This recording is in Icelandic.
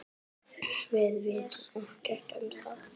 Við vitum ekkert um það.